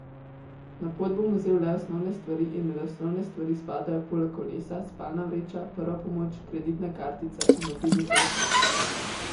Na pot bom vzel le osnovne stvari in med osnovne stvari spadajo poleg kolesa, spalna vreča, prva pomoč, kreditna kartica in mobilni telefon.